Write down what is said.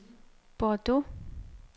Bordeaux